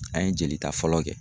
An ye jolita fɔlɔ kɛ.